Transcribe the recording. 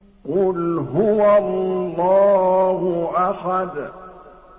قُلْ هُوَ اللَّهُ أَحَدٌ